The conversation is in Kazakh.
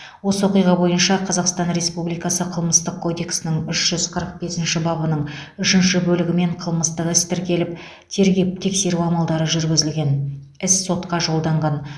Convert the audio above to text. осы оқиға бойынша қазақстан республикасының қылмыстық кодексінің үш жүз қырық бесінші бабының үшінші бөлігімен қылмыстық іс тіркеліп тергеп тексеру амалдары жүргізілген іс сотқа жолданған